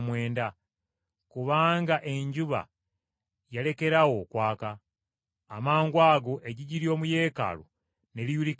kubanga enjuba yalekeraawo okwaka. Amangwago eggigi ly’omu Yeekaalu ne liyulikamu wabiri.